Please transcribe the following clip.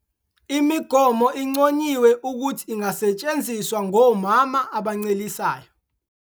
Imigomo inconyiwe ukuthi ingasetshenziswa ngomama abancelisayo.